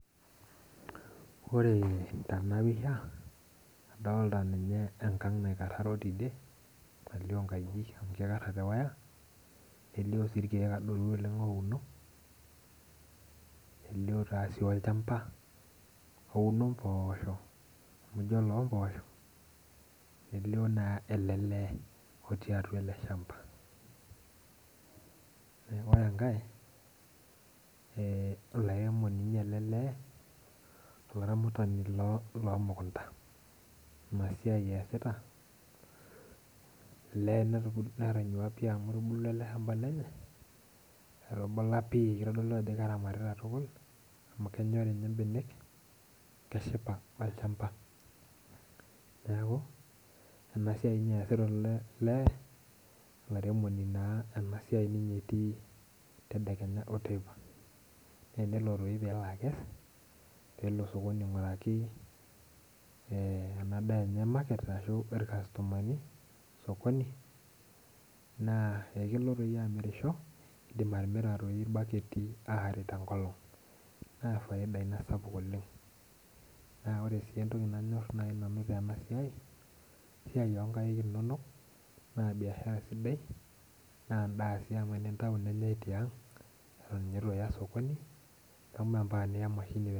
Ore tenapisha adolta ninye enkang naikaroro tidie nalio nkajijik amu kikararo tewire amu kelio nkajijik nelio irkiek ouno nelio olchamba ouno mpoosho nelio naelelee otii atua eleshamba ore enkae laremoni elelee lomukundani inasiai easita elee netanyua pii amu etubulua eleshamba lenye etubula pii kitodolu ajo keramatita amu lenyori mbenek keshipa olchamba neaku enasiai ninye easita olaremoni na ninye enasiai easita mbaka teipa natenelo toi nelo akes pelo osokoni ainguraki enadaa enye irkastomani osokonina kelo nye amirisho kidim atimira irbaketi aare tenkolong na ore nai entoki nanyor oleng tenasiai na esiai onkaik inonok na biashara sidai na endaa si amu tenitau tiang atan ituya osokoni membaka niya emashini.